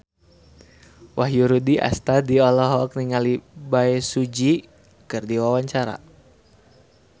Wahyu Rudi Astadi olohok ningali Bae Su Ji keur diwawancara